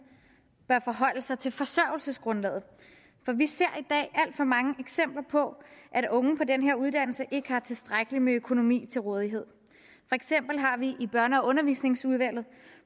bør forholde sig til forsørgelsesgrundlaget for vi ser i for mange eksempler på at unge på den her uddannelse ikke har tilstrækkeligt med økonomiske midler til rådighed for eksempel har vi i børne og undervisningsudvalget